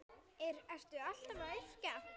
Ertu alltaf að yrkja?